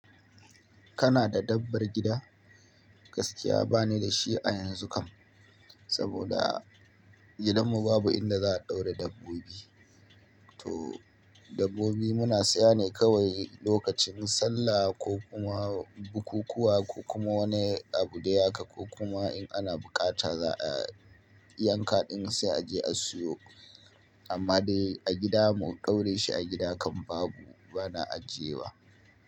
Kana da dabbar gida? Gaskiya ba ni da shi a yanzu kam, saboda gidanmu babu inda za a ɗaura dabbobi. To dabbobi muna saya ne kawai lokacin sallah ko kuma bukukuwa ko kuma wani abu dai haka, ko kuma in ana buƙata za a yanka ɗin sai a je a siyo. Amma dai a gida mu kaure shi a gida kam babu, bana ajiye wa.